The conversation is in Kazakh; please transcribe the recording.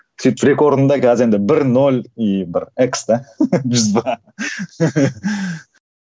сөйтіп бір екі орында қазір енді бір нөл и бір экс та